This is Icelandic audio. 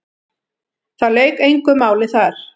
Það lauk engu máli þar.